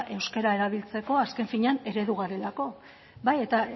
euskera erabiltzeko azken finean eredu garelako eta